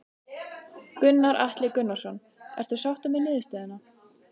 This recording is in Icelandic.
Gunnar Atli Gunnarsson: Ertu sáttur með niðurstöðuna?